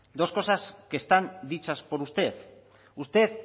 dos cosas que están dichas por usted usted